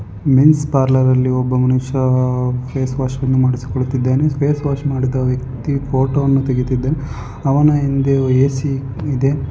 Men's parlour ಅಲ್ಲಿ ಒಬ್ಬ ಮನುಷ್ಯ ಫೇಸ್ವಾಶ್ ಅನ್ನು ಮಾಡಿಸಿಕೊಳ್ಳುತ್ತಿದ್ದಾನೆ ಫೇಸ್ವಾಶ್ ಮಾಡಿದ ವ್ಯಕ್ತಿ ಫೋಟೋ ವನ್ನು ತೆಗಿದಿದೆ ಅವನ ಹಿಂದೆ ಎ.ಸಿ ಇದೆ.